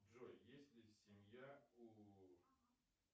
джой есть ли семья у